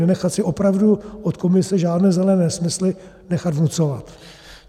Nenechat si opravdu od Komise žádné zelené nesmysly nechat vnucovat.